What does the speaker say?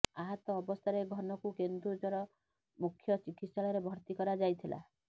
ଆହତ ଅବସ୍ଥାରେ ଘନକୁ କେନ୍ଦୁଝର ମୁଖ୍ୟ ଚିକିତ୍ସାଳୟରେ ଭର୍ତ୍ତି କରାଯାଇଥିଲା